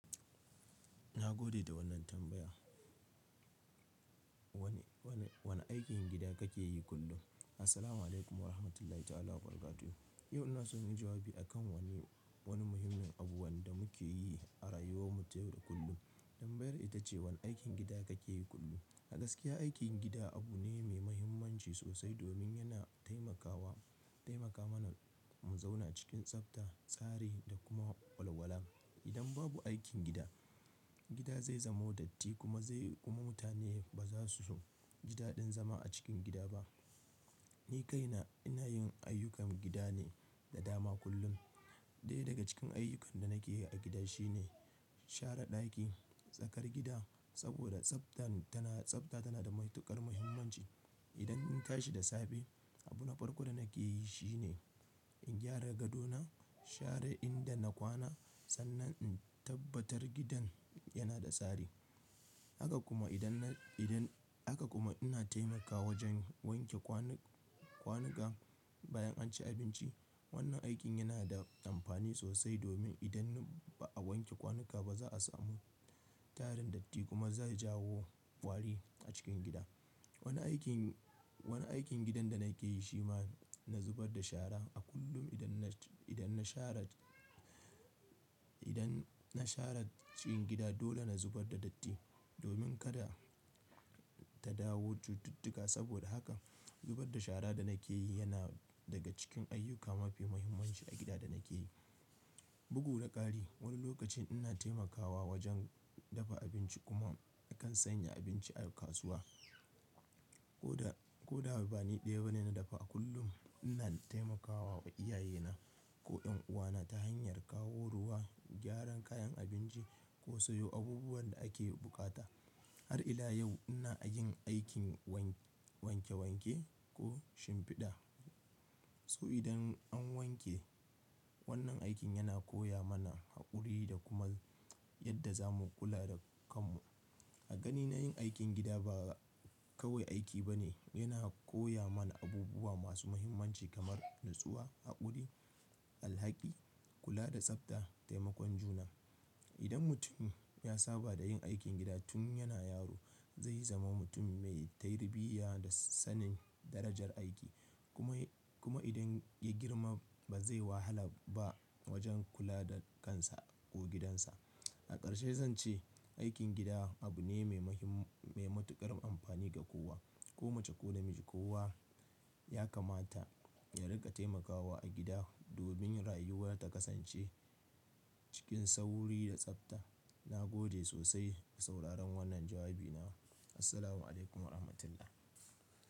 Na gode da wannan tambaya. Wane, wane, wane aikin gida kake yi kullum? Assalamualaikum warahmatullahi ta'ala wabarakatuh. Yau ina so in yi jawabi a kan wani, wani muhimmin abu wanda muke yi a rayuwar mu ta yau da kullum. Tambayar ita ce wane aikin gida kake yi kullum? A gaskiya aikin gida abu ne mai mahimmanci sosai domin yana taimakawa, taimaka mana mu zauna cikin tsafta, tsari da kuma walwala. Idan babu aikin gida, gida zai zamo datti kuma zai, kuma mutane ba za su gida ɗin zama a cikin gida ba. Ni kaina ina yin ayyukan gida ne da dama kullum. Ɗaya daga cikin ayyukan da nake yi a gida shine share ɗaki, tsakar gida saboda tsaftan tana, tsafta tana da matuƙar muhimmanci. Idan in tashi da safe, abu na farko da nake yi shine in gyara gadona, share inda na kwana sannan in tabbatar gidan yana da tsari. Haka kuma idan na, idan, haka kuma ina taimakawa wajen wanke kwani-kwanuka bayan an ci abinci. Wannan aikin yana da amfani sosai domin idan ba a wanke kwanuka ba za a samu tarin datti kuma zai jawo kwari a cikin gida. Wani aikin, wani aikin gidan da nake yi shi ma na zubar da shara a kullum idan na, idan na share, idan na share cikin gida dole na zubar da datti domin kada ta dawo cututtuka. Saboda haka zubar da shara da nake yi yana daga cikin ayyuka mafi muhimmanci a gida da nake yi. Bugu da ƙari wani lokacin ina taimakawa wajen dafa abinci kuma a kan sanya abinci a kasuwa. Ko da, ko da bani ɗaya bane na dafa a kullum ina taimakawa iyaye na ko yan uwa na ta hanyar kawo ruwa, gyaran kayan abinci ko sayo abubuwan da ake buƙata. Har ila yau ina yin aikin wanke-wanke ko shimfiɗa. So idan an wanke wannan aikin yana koya mana haƙuri da kuma yadda zamu kula da kanmu. A ganina yin aikin gida ba kawai aiki bane, yana koya mana abubuwa masu mahimmanci kamar natsuwa, haƙuri, alhaki, kula da tsafta, taimakon juna. Idan mutum ya saba da yin aikin gida tun yana yaro zai zama mutum mai tarbiyya da sanin darajar aiki. Kuma, kuma idan ya girma ba zai wahala ba wajen kula da kansa ko gidansa. A ƙarshe zan ce aikin gida abu ne mai mahim-mai matuƙar amfani ga kowa, ko mace ko namiji. Kowa ya kamata ya riƙa taimakawa a gida domin rayuwa ta kasance cikin sauri da tsafta. Na gode sosai da sauraron wannan jawabi na. Assalamualaikum warahmatullah.